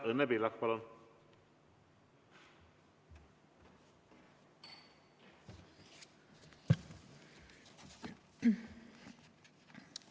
Õnne Pillak, palun!